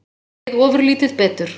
Mér leið ofurlítið betur.